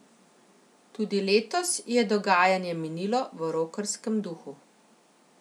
Tudi letos je dogajanje minilo v rokerskem duhu.